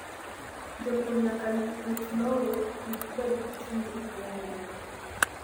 Jopur nyaka rit lowo kik bed gi chumbi mang'eny ahinya.